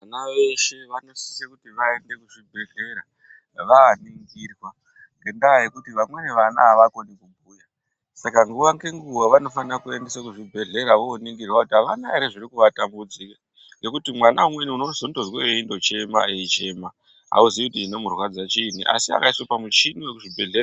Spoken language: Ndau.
Vana veshe vanosise kuti vaende kuzvibhehlera vaaningirwa ngendaa yekuti vamweni vana avakoni kubhuya Saka nguwa ngenguva vanofana kuendeswa kuzvibhedhlera voningirwa kuti avana ere zvirikuvatambudza ngekuti mwana umweni unondoona eindochema eichema hauzii kuti chinomurwadza chiinyi asi akaiswa pamuchini.